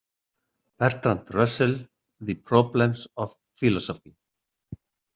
Bertrand Russell, The Problems of Philosophy.